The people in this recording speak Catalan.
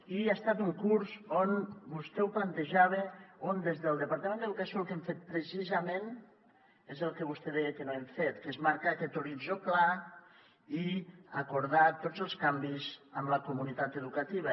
i ha estat un curs on vostè ho plantejava des del departament d’educació el que hem fet precisament és el que vostè deia que no hem fet que és marcar aquest horitzó clar i acordar tots els canvis amb la comunitat educativa